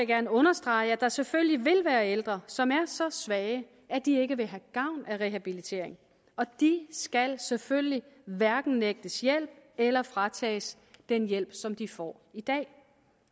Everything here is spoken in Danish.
gerne understrege at der selvfølgelig vil være ældre som er så svage at de ikke vil have gavn af rehabilitering og de skal selvfølgelig hverken nægtes hjælp eller fratages den hjælp som de får i dag